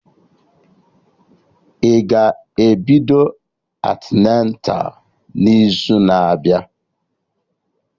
Ị ga-ebido antịneta n'izu na abịa?